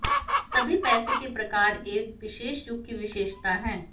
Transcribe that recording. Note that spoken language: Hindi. सभी पैसे के प्रकार एक विशेष युग की विशेषता है